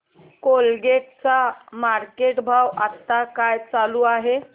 Colgate चा market भाव आता काय चालू आहे